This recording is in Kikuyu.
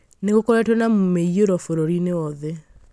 Nĩ gũkoretwo na mĩiyũro bũrũriinĩ wothe